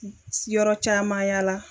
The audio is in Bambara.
siyɔrɔ caman yaala.